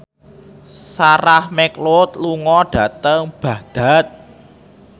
Sarah McLeod lunga dhateng Baghdad